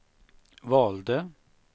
valde